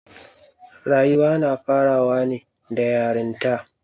Rayuwa na farawa ne da yaranta.